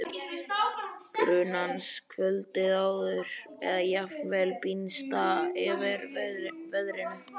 brunans kvöldið áður eða jafnvel býsnast yfir veðrinu.